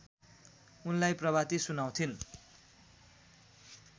उनलाई प्रभाती सुनाउँथिन्